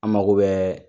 An mako bɛ